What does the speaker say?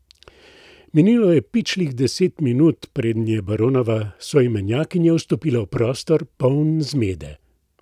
Minilo je pičlih deset minut, preden je baronova soimenjakinja vstopila v prostor, poln zmede.